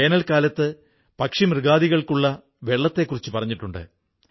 വേനൽക്കാലത്ത് പക്ഷിമൃഗാദികൾക്കുള്ള വെള്ളത്തെക്കുറിച്ചു പറഞ്ഞിട്ടുണ്ട്